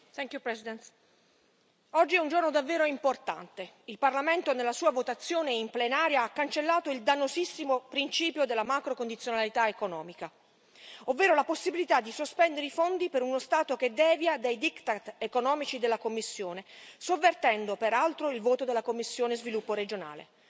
Signor Presidente, onorevoli colleghi, oggi è un giorno davvero importante il Parlamento nella sua votazione in Plenaria ha cancellato il dannosissimo principio della macrocondizionalità economica, ovvero la possibilità di sospendere i fondi per uno Stato che devia dai diktat economici della Commissione, sovvertendo peraltro il voto della commissione per lo sviluppo regionale.